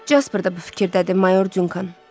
Cəspır da bu fikirdədir, mayor Dunkan.